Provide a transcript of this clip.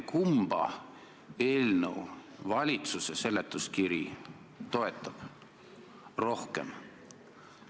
Kumba eelnõu valitsuse seletuskiri toetab rohkem?